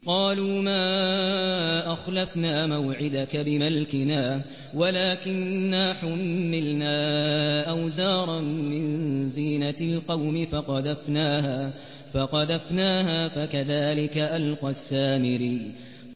قَالُوا مَا أَخْلَفْنَا مَوْعِدَكَ بِمَلْكِنَا وَلَٰكِنَّا حُمِّلْنَا أَوْزَارًا مِّن زِينَةِ الْقَوْمِ فَقَذَفْنَاهَا فَكَذَٰلِكَ أَلْقَى السَّامِرِيُّ